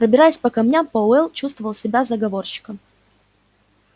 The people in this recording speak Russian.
пробираясь по камням пауэлл чувствовал себя заговорщиком